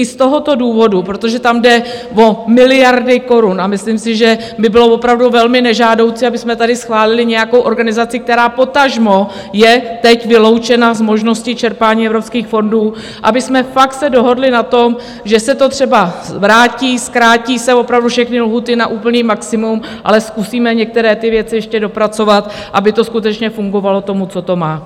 I z tohoto důvodu, protože tam jde o miliardy korun, a myslím si, že by bylo opravdu velmi nežádoucí, abychom tady schválili nějakou organizaci, která potažmo je teď vyloučena z možnosti čerpání evropských fondů, abychom se fakt dohodli na tom, že se to třeba vrátí, zkrátí se opravdu všechny lhůty na úplné maximum, ale zkusíme některé ty věci ještě dopracovat, aby to skutečně fungovalo tomu, co to má.